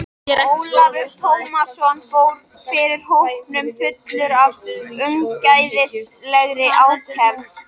Ólafur Tómasson fór fyrir hópnum fullur af ungæðislegri ákefð.